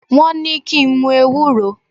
Wọ́n ní kí n mu ewúro.